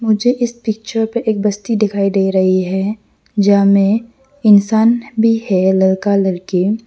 मुझे इस पिक्चर पे एक बस्ती दिखाई दे रही है जा में इंसान भी है लड़का लड़की।